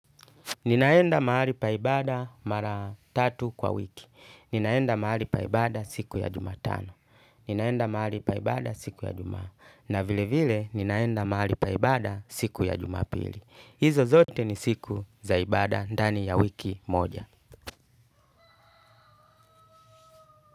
Ninaenda mahali pa ibada mara tatu kwa wiki. Ninaenda mahali pa ibada siku ya jumatano. Ninaenda mahali pa ibada siku ya jumatano. Na vile vile ninaenda mahali pa ibada siku ya jumapili. Hizo zote ni siku za ibada ndani ya wiki moja.